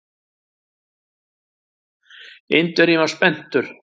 Indverjinn var spenntur.